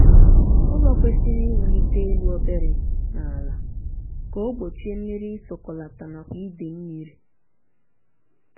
ụlọ kwesịrị iwulite elu obere n' ala ka o gbochie mmiri isọkọlata nakwa ide mmiri